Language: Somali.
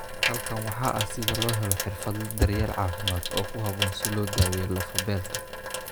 Halkan waxaa ah sida loo helo xirfadle daryeel caafimaad oo ku habboon si loo daweeyo lafo-beelka.